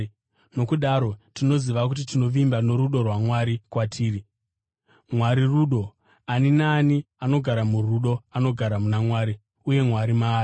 Nokudaro tinoziva uye tinovimba norudo rwaMwari kwatiri. Mwari rudo. Ani naani anogara murudo anogara muna Mwari, uye Mwari maari.